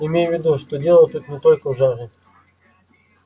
имей в виду что дело тут не только в жаре